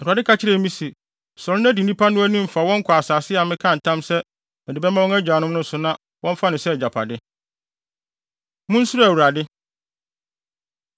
Awurade ka kyerɛɛ me se, “Sɔre na di nnipa no anim fa wɔn kɔ asase a mekaa ntam sɛ mede bɛma wɔn agyanom no so na wɔmfa no sɛ agyapade.” Munsuro Awurade